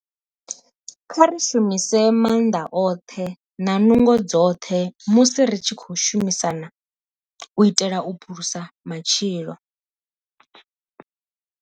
Kha ri shumise maanḓa oṱhe na nungo dzoṱhe musi ri tshi khou shumisana u itela u phulusa matshilo.